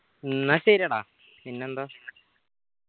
എന്നാ ശെരി എടാ പിന്നെന്താ